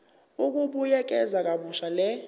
ukubuyekeza kabusha le